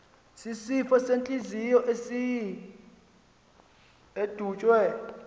sisifo sentliziyo edutywe